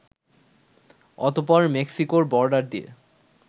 অতঃপর মেক্সিকোর বর্ডার দিয়ে